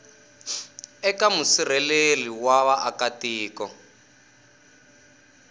eka musirheleli wa vaaka tiko